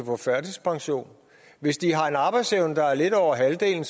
få førtidspension hvis de har en arbejdsevne der er lidt over halvdelen